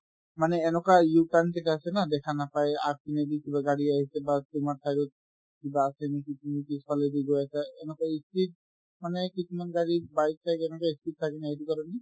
মানে এনেকুৱা u-turn কেইটা আছে ন দেখা নাপাই আগপিনেদি কিবা গাড়ী আহিছে বা তোমাৰ side ত কিবা আছে নেকি তুমি পিছফালে দি গৈ আছে এনেকৈ ই speed মানে এই কিছুমান গাড়ী bike চাইক এনেকুৱা ই speed থাকে নহয় এইটো কাৰণে